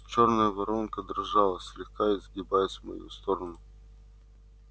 чёрная воронка дрожала слегка изгибаясь в мою сторону